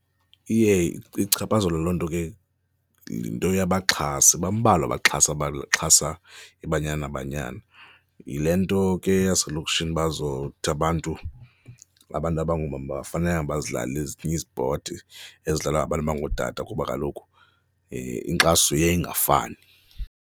Iye ichaphazelwe loo nto ke yinto yabaxhasi, bambalwa abaxhasi abaxhasa iBanyana Banyana. Yile nto ke yaselokishini bazothi abantu, abantu abangoomama abafanelanga bazidlale ezinye izipoti ezidlalwa ngabantu abangootata kuba kaloku inkxaso iye ingafani.